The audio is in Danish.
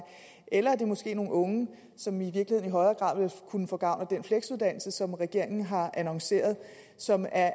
eller det er måske nogle unge som i virkeligheden i højere grad kunne få gavn af den fleksuddannelse som regeringen har annonceret og som er